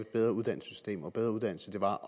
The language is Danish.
bedre uddannelsessystem og bedre uddannelser var